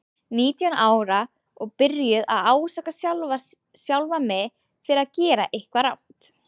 Nítján ára og byrjuð að ásaka sjálfa mig fyrir að gera eitthvað rangt.